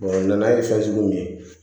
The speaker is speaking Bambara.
nan'a ye fɛn sugu min ye